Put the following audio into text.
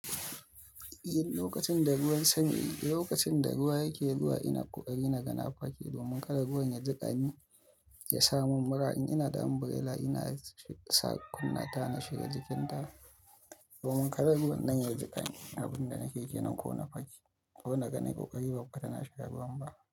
Lokacin da ruwan sanyi, lokacin da ruwa yake ruwa ina ƙoƙari na gana fake domin kada ruwan ya jiƙani, ya sa mun mura. In ina da ambrela ina saka kunna ta na shiga jikinta domin kada ruwan nan ya jiƙani. Abin da nake yi nan ko na fake, ko na ga nai ƙoƙari ba ku ka tana sha ruwan ba.